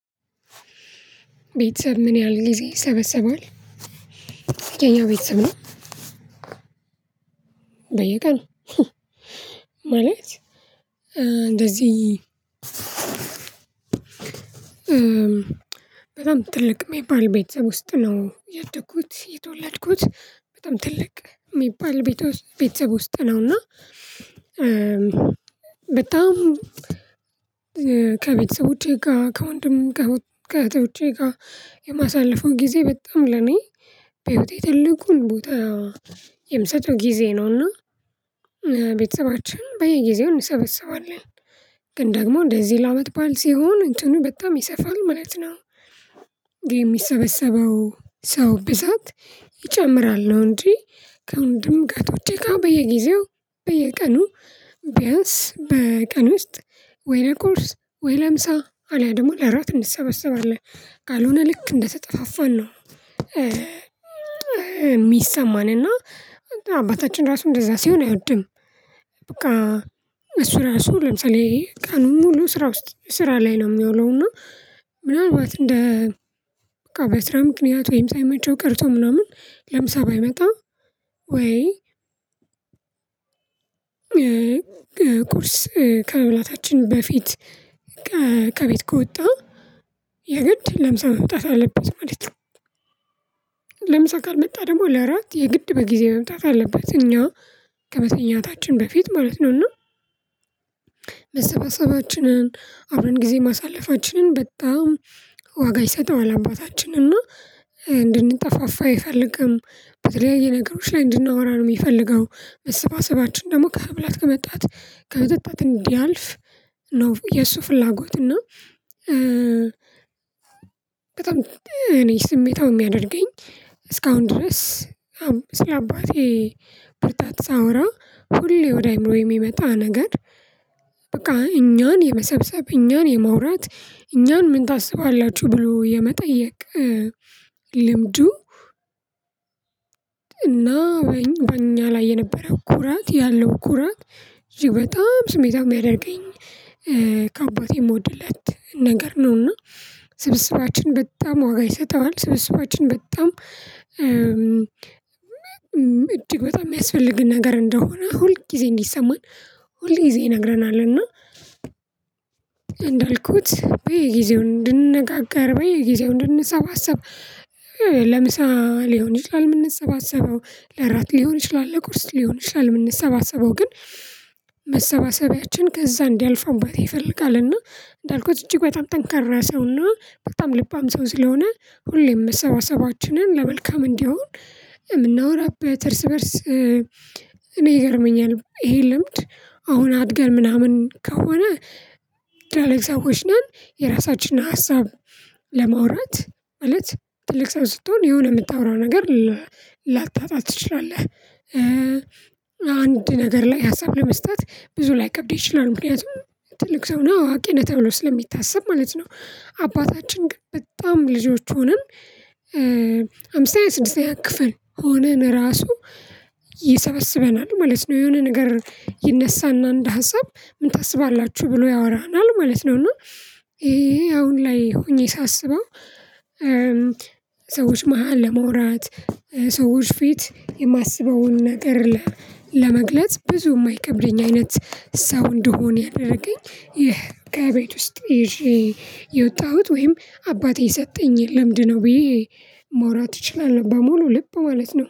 ቤተሰብ ምን ያህል ጊዜ ይሰበሰባል? የኛ ቤተሰብ ነው በየቀኑ ማለት እንደዚህ በጣም ትልቅ የሚባል ቤተሰብ ውስጥ ነው ያደግኩት የተወለድኩት በጣም ትልቅ የሚባል ቤተሰብ ውስጥ ነው እና በጣም ከቤተሰቦቼ ጋር ከወንድም ከእህቶቼ ጋር የማሳልፈው ጊዜ በጣም ለኔ በህይወቴ ትልቁን ቦታ የምሰጠው ጊዜ ነውና ቤተሰባችን በየጊዜው እንሰበሰባለን ግን ደግሞ እንደዚህ ለአመት በዓል ሲሆን እንትኑ በጣም ይሰፋል ማለት ነው። የሚሰበሰበው ሰው ብዛት ይጨምራል ነው እንጂ ከወንድም ከእህቶቼ ጋር በየጊዜው በየቀኑ ቢያንስ በቀን ውስጥ ወይ ለቁርስ ወይ ለምሳ አለያ ደግሞ ለእራት እንሰበሰባለን ካልሆነ ልክ እንደተጠፋፋን ነው የሚሰማንና አባታችን ራሱ እንደዛ ሲሆን አይወድም በቃ እሱ ራሱ ለምሳሌ ቀኑን ሙሉ ስራ ውስጥ ስራ ላይ ነው የሚያውለው እና ምናልባት እንደ በቃ በስራ ምክንያት ወይም ሳይመቸው ቀርቶ ምናምን ለምሳ ባይመጣ ወይ ቁርስ ከመብላታችን በፊት ከቤት ከወጣ የግድ ለምሳ መምጣት አለበት ማለት ነው ለምሳ ካልመጣ ደግሞ ለእራት የግድ በጊዜ መምጣት አለበት እኛ ከመተኛታችን በፊት ማለት ነው እና መበሰባሰባችንን አብረን ጊዜ ማሳለፋችንን በጣም ዋጋ ይሰጠዋል አባታችን እና እንድንጠፋፋ አይፈልግም በተለያየ ነገሮች ላይ እንድናወራ ነው የሚፈልገው መሰባሰባችን ደግሞ ከመብላት ከመጠጣት ከመጠጣት እንዲያልፍ ነው የሱ ፍላጎት እና በጣም እኔ ስሜታው የሚያደርገኝ እስካሁን ድረስ አሁን ስለአባቴ ብርታት ሳወራ ሁሌ ወደ አእምሮዬ የሚመጣ ነገር በቃ እኛን የመሰብሰብ እኛን የማውራት እኛን ምን ታስባላችሁ ብሎ የመጠየቅ ልምዱ እና በኛ ላይ የነበረው ኩራት ያለው ኩራት እጅግ በጣም ስሜታዊ የሚያደርገኝ ከአባቴ የምወድለት ነገር ነው እና ስብስባችንን በጣም ዋጋ ይሰጠዋል ስብስባችንን በጣም እጅግ በጣም የሚያስፈልግ ነገር እንደሆነ ሁል ጊዜ እንዲሰማን ሁል ጊዜ ይነግረናል እና እንዳልኩት በየጊዜው እንድንነጋገር በየጊዜው እንድንሰባሰብ ለምሳ ሊሆን ይችላል የምንሰባሰበው ለእራት ሊሆን ይችላል ለቁርስ ሊሆን ይችላል የምንሰባሰበው ግን መሰባሰቢያችን ከዛ እንዲያልፍ አባቴ ይፈልጋልና እንዳልኩት እጅግ በጣም ጠንካራ ሰውና በጣም ልባም ሰው ስለሆነ ሁሌም መሰባሰባችንን ለመልካም እንዲሆን የምናወራበት እርስ በእርስ እኔ ይገርመኛል ይሄ ልምድ አሁን አድገን ምናምን ከሆነ ትልልቅ ሰዎች ነን የራሳችንን ሀሳብ ለማውራት ማለት ትልቅ ሰው ስትሆን የሆነ የምታወራው ነገር ላታጣ ትችላለህ አንድ ነገር ላይ ሀሳብ ለመስጠት ብዙ ላይከብድህ ይችላል ምክንያቱም ትልቅ ሰው ነህ አዋቂ ነህ ተብሎ ስለሚታሰብ ማለት ነው አባታችን በጣም ልጆች ሆነን አምስተኛ ስድስተኛ ክፍል ሆነን ራሱ ይሰበስበናል ማለት ነው የሆነ ነገር ይነሳና እንደ ሀሳብ ምን ታስባላችሁ ብሎ ያወራናል ማለት ነው እና ይሄ አሁን ላይ ሆኜ ሳስበው ሰዎች መሃል ለማውራት ሰዎች ፊት የማስበውን ነገር ለመግለጽ ብዙ የማይከብደኝ አይነት ሰው እንድሆን ያደረገኝ ይህ ከቤት ውስጥ ይዤ የወጣሁት ወይም አባቴ የሰጠኝ ልምድ ነው ብዬ ማውራት እችላለሁ በሙሉ ልብ ማለት ነው